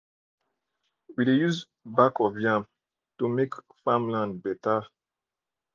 we dey use back of yam to make farmland better